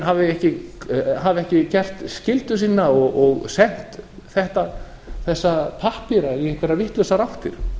hafi ekki gert skyldu sína og sent þessa pappíra í einhverjar vitlausar áttir